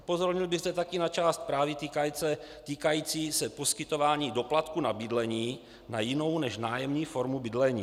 Upozornil bych zde také na část zprávy týkající se poskytování doplatků na bydlení na jinou než nájemní formu bydlení.